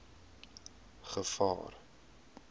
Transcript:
gevaar